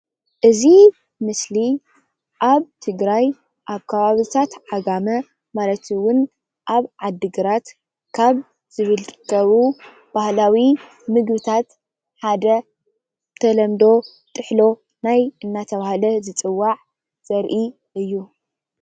እዚ ምስሊ ኣብ ትግራይ ኣብ ከባብታት ዓጋመ ማለት እዉን ኣብ ዓዲግራት ካብ ዝርከቡ ባህላዊ ምግብታት ሓደ ብተለምዶ ጥሕሎ ናይ እናተብሃለ ዝፅዋዕ ዘርኢ እዩ፡፡